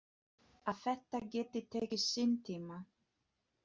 Að þetta geti tekið sinn tíma.